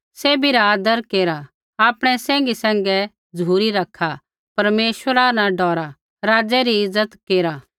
सैभी रा आदर केरा आपणै सैंघी सैंघै झ़ुरी रखा परमेश्वरा न डौरा राज़ै री इज्ज़त केरा